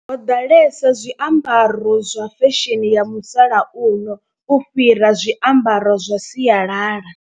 Ho ḓalesa zwiambaro zwa fesheni ya musalauno u fhira zwiambaro zwa sialala.